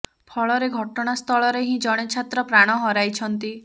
ଫଳରେ ଘଟଣା ସ୍ଥଳରେ ହିଁ ଜଣେ ଛାତ୍ର ପ୍ରାଣ ହରାଇଛନ୍ତି